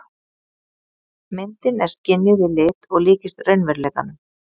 Myndin er skynjuð í lit og líkist raunveruleikanum.